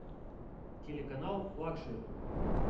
телеканал лакшери